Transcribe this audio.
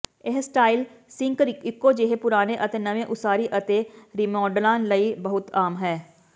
ਇਹ style sink ਇਕੋ ਜਿਹੇ ਪੁਰਾਣੇ ਅਤੇ ਨਵੇਂ ਉਸਾਰੀ ਅਤੇ ਰੀਮੌਡਲਾਂ ਲਈ ਬਹੁਤ ਆਮ ਹੈ